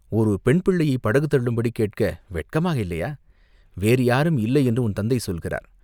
ஒரு பெண் பிள்ளையைப் படகு தள்ளும்படி கேட்க வெட்கமாயில்லையா?" "வேறு யாரும் இல்லை என்று உன் தந்தை சொல்கிறார்.